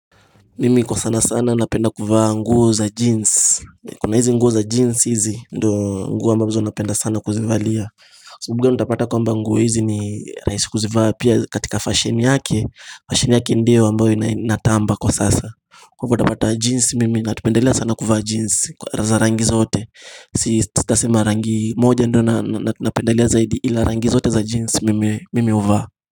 Mimi kwa sana sana napenda kuvaa nguo za jeans, kuna hizi nguo za jeans hizi ndo nguo ambazo napenda sana kuzivalia sabuga nitapata kwamba nguo hizi ni rahisi kuzivaa pia katika fashion yake, fashion yake ndiyo ambayo inai inatamba kwa sasa Kwa hivo utapata jinsi mimi napendelea sana kuvaa jeans kwa za rangi zote, si sitasema rangi moja ndo na napendelea zaidi ila rangi zote za jeans mimi mimi huvaa.